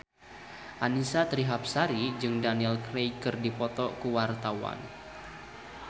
Annisa Trihapsari jeung Daniel Craig keur dipoto ku wartawan